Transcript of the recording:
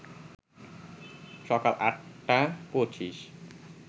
সকাল ৮টা ২৫